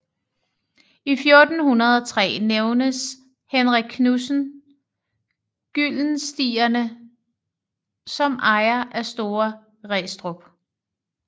I 1403 nævnes Henrik Knudsen Gyldenstierne som ejer af Store Restrup